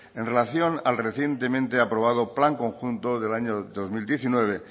en relación al recientemente aprobado plan conjunto del año dos mil diecinueve